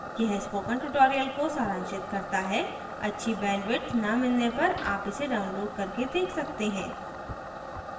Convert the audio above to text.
यह spoken tutorial को सारांशित करता है अच्छी bandwidth न मिलने पर आप इसे download करके देख सकते हैं